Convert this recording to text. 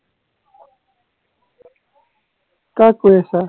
কাক কৈ আছা